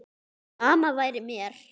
Sama væri mér.